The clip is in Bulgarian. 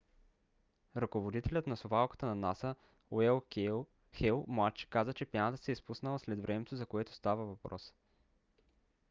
ръководителят на совалката на наса – н. уейн хейл младши каза че пяната се е спуснала след времето за което става въпрос